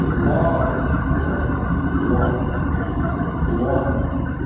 лох лох лох лох